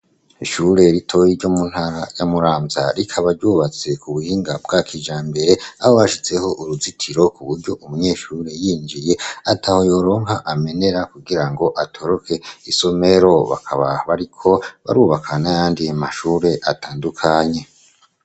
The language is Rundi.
Ishure ritoyi ryo mu ntara ya Muramvya rikabaryubatse ku buhinga bwa kijambere a bashizeho uruzitiro ku buryo umunyeshuri yinjiye ataho yoronka amenera kugira ngo atoroke isomero bakabaho ariko barubakana yandi mashure atandukanye.